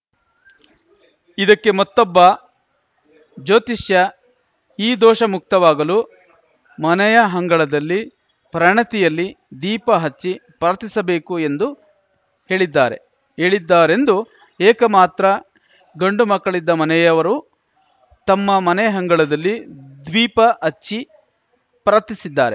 ಇದಕ್ಕೆ ಮತ್ತೊಬ್ಬ ಜ್ಯೋತಿಷ್ಯ ಈ ದೋಷ ಮುಕ್ತವಾಗಲು ಮನೆಯ ಹಂಗಳದಲ್ಲಿ ಪ್ರಣಿತಿಯಲ್ಲಿ ದೀಪ ಹಚ್ಚಿ ಪ್ರಾರ್ಥಿಸಬೇಕು ಎಂದು ಹೇಳಿದ್ದಾರೆ ಹೇಳಿದ್ದಾರೆಂದು ಏಕ ಮಾತ್ರ ಗಂಡು ಮಕ್ಕಳಿದ್ದ ಮನೆಯವರು ತಮ್ಮ ಮನೆಯ ಹಂಗಳದಲ್ಲಿ ದೀಪ ಹಚ್ಚಿ ಪ್ರಾರ್ಥಿಸಿದ್ದಾರೆ